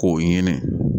K'o ɲini